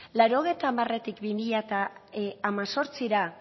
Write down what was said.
laurogeita hamartik bi mila hemezortzira